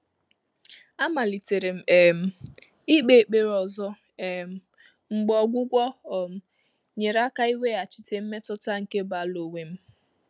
Àmàlị́tèrè m um íkpé ékpèré ọ́zọ́ um mgbè ọ́gwụ́gwọ́ um nyèrè áká íwéghàchí mmétụ́tà nké báàlụ́ ónwé m.